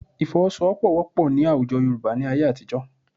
Ìfọwọ́sowọ́pọ̀ wọ́pọ̀ ní àwùjọ Yorùbá ní ayé àtijọ́